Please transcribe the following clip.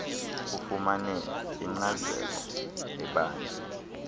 ufumane inkcazelo ebanzi